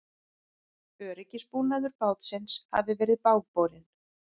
Öryggisbúnaður bátsins hafi verið bágborinn